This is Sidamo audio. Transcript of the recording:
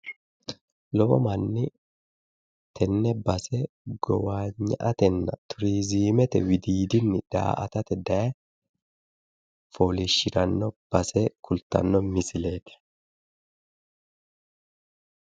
Lowo manni tenne base gowagna'atena turizimete widdiidini daa'atate daye fooliishirano base leelishano misileti